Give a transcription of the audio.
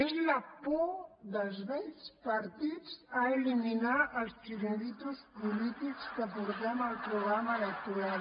és la por dels vells partits a eliminar els xiringuitos polítics que portem al programa electoral